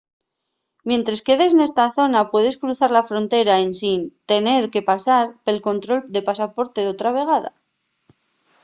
mientres quedes nesta zona puedes cruzar la frontera ensin tener que pasar pel control de pasaporte otra vegada